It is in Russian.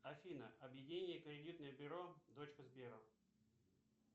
афина объединение кредитное бюро дочка сбера